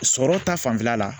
Sɔrɔ ta fanfɛla la